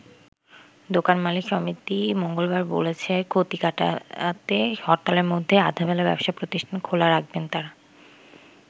দোকান মালিক সমিতি মঙ্গলবার বলেছে ক্ষতি কাটাতে হরতালের মধ্যে আধাবেলা ব্যবসা প্রতিষ্ঠান খোলা রাখবেন তারা।